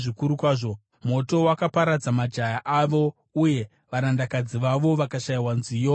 Moto wakaparadza majaya avo, uye varandakadzi vavo vakashayiwa nziyo dzesvitsa;